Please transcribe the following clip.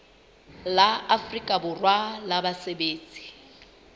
la afrika borwa la basebetsi